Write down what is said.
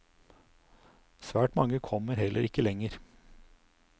Svært mange kommer heller ikke lenger.